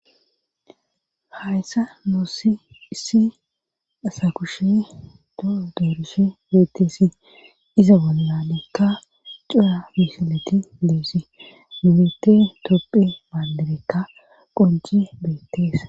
hayssa nuossi issi asa kushe doo deruse beettesi iza wallalekka cura misileti liesi mimete topphe baandabekka qoji beettes